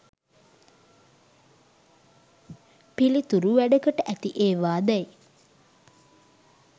පිළිතුරු වැඩකට ඇති ඒවා දැයි